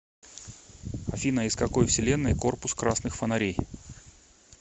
афина из какой вселенной корпус красных фонарей